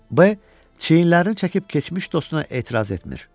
B çiyinlərini çəkib keçmiş dostuna etiraz etmir.